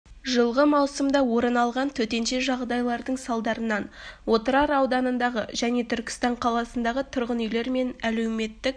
жылғы маусымда орын алған төтенше жағдайлардың салдарынан отырар ауданындағы және түркістан қаласындағы тұрғын үйлер мен әлеуметтік